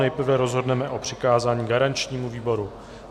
Nejprve rozhodneme o přikázání garančnímu výboru.